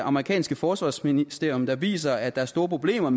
amerikanske forsvarsministerium der viser at der er store problemer